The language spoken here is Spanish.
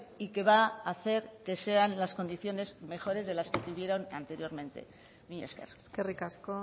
y que va a hacer que sean las condiciones mejores de las que tuvieron anteriormente mila esker eskerrik asko